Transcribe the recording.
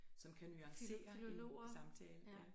Som kan nuancere en god samtale ja